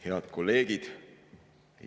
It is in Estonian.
Head kolleegid!